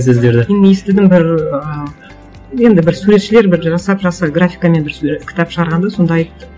сөздерді мен естідім бір ыыы енді бір суретшілер бір жасап жасап графикамен бір кітап шығарған да сонда айтты